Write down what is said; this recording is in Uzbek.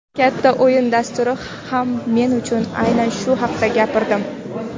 "Katta o‘yin" dasturida ham men aynan shu haqda gapirdim.